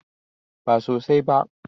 Ba sosai ba.